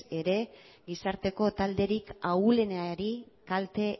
ere gizarteko talderik ahulenari kalte